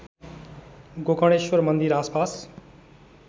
गोकर्णेश्वर मन्दिर आसपास